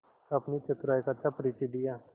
अपनी चतुराई का अच्छा परिचय दिया